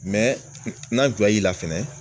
n'an tu y'i la fɛnɛ.